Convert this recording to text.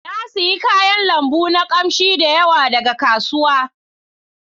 Na sayi kayan lambu na kamshi da yawa daga kasuwa.